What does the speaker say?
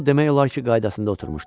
İndi o demək olar ki, qaydasında oturmuşdu.